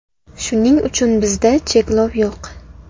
Shuning uchun bizda cheklov yo‘q.